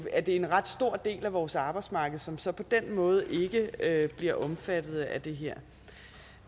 en ret stor del af vores arbejdsmarked som så på den måde ikke bliver omfattet af det her